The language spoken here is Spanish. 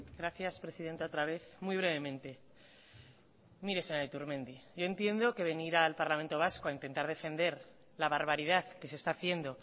gracias presidenta otra vez muy brevemente mire señora iturmendi yo entiendo que venir al parlamento vasco a intentar defender la barbaridad que se está haciendo